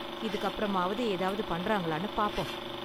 இதுக்கப்பறமாவது ஏதாவது பண்றாங்களானு பாப்போம்.